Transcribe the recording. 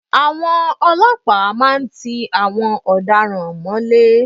Àwọn ọlọ́pàá máa ń tí àwọn ọ̀daràn mọ́lé.